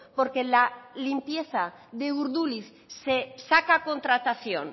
porque la limpieza de urduliz se saca a contratación